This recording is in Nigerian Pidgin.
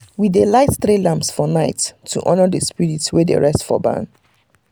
we dey light three lamps for night to honor the spirit wey dey rest for barn.